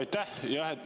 Aitäh!